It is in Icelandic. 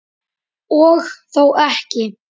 Og þó ekki.